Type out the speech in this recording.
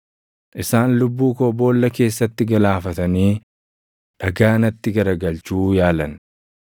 Isaan lubbuu koo boolla keessatti galaafatanii dhagaa natti garagalchuu yaalan;